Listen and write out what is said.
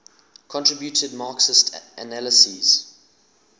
contributed marxist analyses